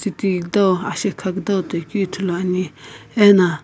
ti kudau ashekha kudau toikeu ithuluani ena.